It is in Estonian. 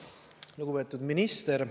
Lugupeetud minister!